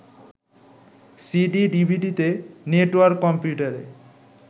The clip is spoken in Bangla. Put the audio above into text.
সিডি/ডিভিডিতে, নেটওয়ার্ক কম্পিউটারে